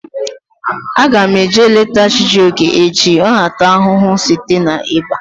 Aga m eje leta Chijioke echi. Ọ na ata ahụhụ site na iba